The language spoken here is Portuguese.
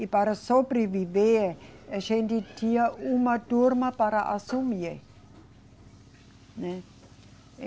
E para sobreviver, a gente tinha uma turma para assumir, né